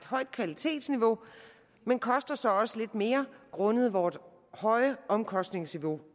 højt kvalitetsniveau men koster så også lidt mere grundet vores høje omkostningsniveau